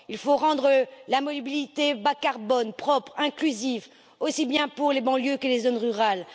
Il faut rendre la mobilité bas carbone, propre et inclusive, aussi bien pour les banlieues que les zones rurales.